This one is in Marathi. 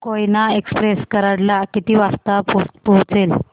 कोयना एक्सप्रेस कराड ला किती वाजता पोहचेल